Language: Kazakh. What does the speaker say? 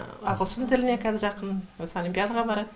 ағылшын тіліне қазір жақын осы олимпиадаға барады